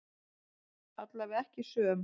Allavega ekki söm.